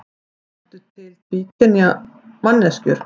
Eru til tvíkynja manneskjur?